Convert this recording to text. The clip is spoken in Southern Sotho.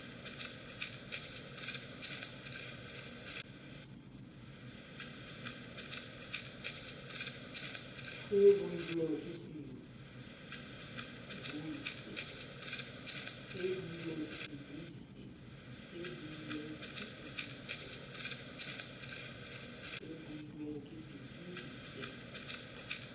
se builweng ke sebui se